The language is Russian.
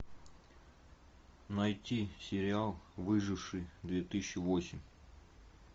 найти сериал выживший две тысячи восемь